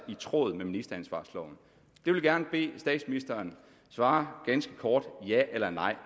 i tråd med ministeransvarsloven jeg vil gerne bede statsministeren svare ganske kort ja eller nej